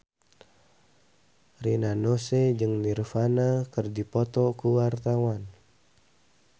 Rina Nose jeung Nirvana keur dipoto ku wartawan